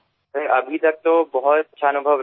sir এখনপর্যন্তখুবভালঅভিজ্ঞতাহয়েছে